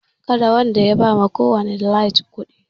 Karwanda ya ba ma kowani daliges kuɗi